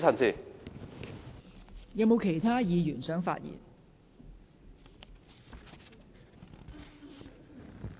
是否有其他議員想發言？